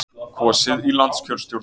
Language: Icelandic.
Kosið í landskjörstjórn